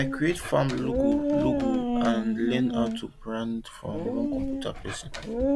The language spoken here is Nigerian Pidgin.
i create farm logo logo and i learn how to brand from one computer person